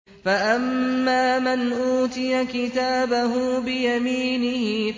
فَأَمَّا مَنْ أُوتِيَ كِتَابَهُ بِيَمِينِهِ